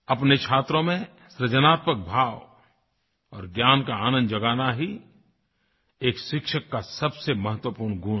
अपने छात्रों में सृजनात्मक भाव और ज्ञान का आनंद जगाना ही एक शिक्षक का सबसे महत्वपूर्ण गुण है